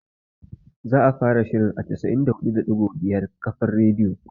Za'a fara shirin a 94.5 kafar radiyo